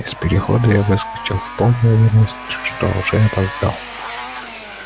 из перехода я выскочил в полной уверенности что уже опоздал